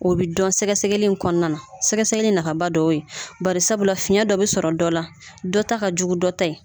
O bi dɔn sɛgɛsɛgɛ in kɔnɔna na sɛgɛsɛli nafaba dɔ y'o ye, bari sabula fiɲɛ dɔ bi sɔrɔ dɔ la, dɔ ta ka jugu dɔ ta ye.